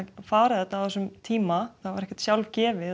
fara þetta á þessum tíma það var ekkert sjálfgefið